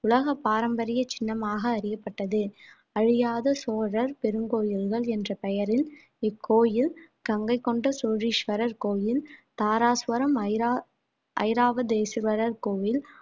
உலகப் பாரம்பரிய சின்னமாக அறியப்பட்டது அழியாத சோழர் பெருங்கோயில்கள் என்ற பெயரில் இக்கோயில் கங்கை கொண்ட சோழீஸ்வரர் கோயில் தாராசுரம் ஐரா~ ஐராவ தேசுவரர் கோவில்